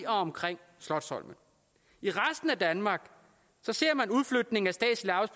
omkring slotsholmen i resten af danmark ser man udflytningen